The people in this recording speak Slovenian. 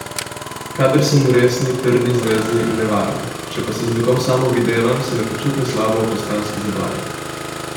Kadar sem v resni, trdni zvezi, ne varam, če pa se z nekom samo videvam, se ne počutim slabo ob postranski zabavi.